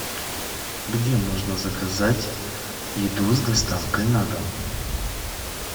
где можно заказать еду с доставкой на дом